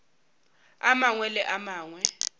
a mangwe le a mangwe